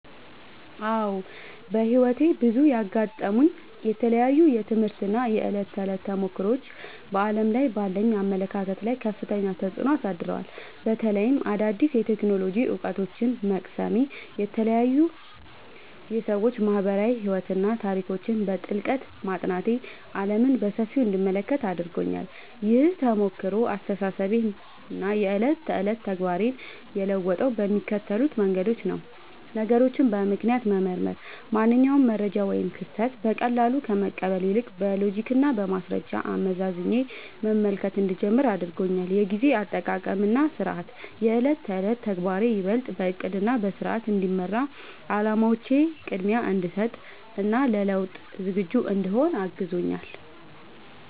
አዎ፣ በሕይወቴ ውስጥ ያጋጠሙኝ የተለያዩ የትምህርት እና የዕለት ተዕለት ተሞክሮዎች በዓለም ላይ ባለኝ አመለካከት ላይ ከፍተኛ ተጽዕኖ አሳድረዋል። በተለይም አዳዲስ የቴክኖሎጂ እውቀቶችን መቅሰሜ፣ የተለያዩ የሰዎች ማኅበራዊ ሕይወትና ታሪኮችን በጥልቀት ማጥናቴ ዓለምን በሰፊው እንድመለከት አድርጎኛል። ይህ ተሞክሮ አስተሳሰቤንና የዕለት ተዕለት ተግባሬን የለወጠው በሚከተሉት መንገዶች ነው፦ ነገሮችን በምክንያት መመርመር፦ ማንኛውንም መረጃ ወይም ክስተት በቀላሉ ከመቀበል ይልቅ፣ በሎጂክና በማስረጃ አመዛዝኜ መመልከት እንድጀምር አድርጎኛል። የጊዜ አጠቃቀምና ሥርዓት፦ የዕለት ተዕለት ተግባሬ ይበልጥ በዕቅድና በሥርዓት እንዲመራ፣ ለዓላማዎቼ ቅድሚያ እንድሰጥ እና ለለውጥ ዝግጁ እንድሆን አግዞኛል።